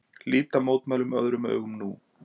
Líta mótmælin öðrum augum nú